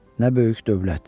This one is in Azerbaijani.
Nə böyük dövlət.